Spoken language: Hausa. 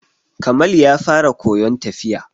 Kamal ya fara koyon tafiya.